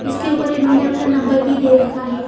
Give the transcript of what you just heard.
इसके ऊपर इन्होंने अपना नंबर भी दे रखा है।